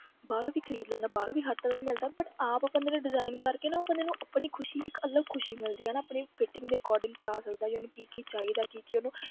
ਬਾਹਰੋਂ ਵੀ ਖ਼ਰੀਦ ਲੈਂਦਾ ਬਾਹਰੋਂ ਵੀ ਹਰ ਤਰ੍ਹਾਂ ਦਾ ਮਿਲਦਾ but ਆਪ ਬੰਦੇ ਨੂੰ design ਕਰਕੇ ਨਾ ਉਹ ਬੰਦੇ ਨੂੰ ਆਪਣੀ ਖ਼ੁਸ਼ੀ ਇੱਕ ਅਲੱਗ ਖ਼ੁਸ਼ੀ ਮਿਲਦੀ ਆ ਨਾ ਆਪਣੀ fitting ਦੇ according ਕਰਵਾ ਸਕਦਾ ਜਾਂ ਉਹਨੂੰ ਕੀ ਕੀ ਚਾਹੀਦਾ ਕੀ ਕੀ ਉਹਨੂੰ